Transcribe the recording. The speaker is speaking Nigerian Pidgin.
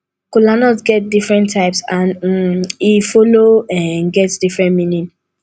kolanut get different types and um e follow um get different meaning